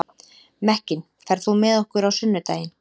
Mekkin, ferð þú með okkur á sunnudaginn?